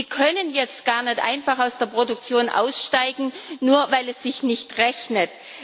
Sie können jetzt gar nicht einfach aus der Produktion aussteigen, nur weil es sich nicht rechnet.